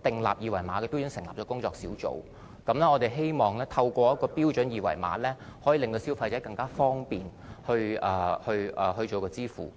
準而成立工作小組，我們希望透過標準二維碼，可以令消費者更方便地支付費用。